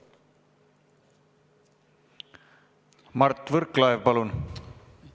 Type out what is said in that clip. Mart Võrklaev, palun!